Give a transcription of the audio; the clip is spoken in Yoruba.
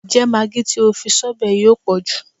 Ǹjẹ́ magi tí o fi sọ́bẹ̀ yìí ò pọ̀jù?